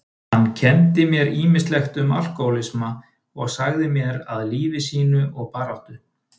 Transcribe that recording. Hann kenndi mér ýmislegt um alkohólisma og sagði mér af lífi sínu og baráttu.